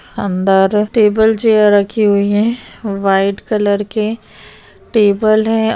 अंदर table chair रखी हुई है व्हाइट कलर के टेबल है।